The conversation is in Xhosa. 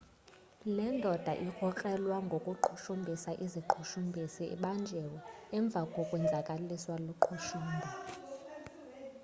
le ndoda irkrokrelwa ngokuqhushumbhisa iziqhushumbhisi ibanjiwe emva kokwenzakaliswa luqhushumbo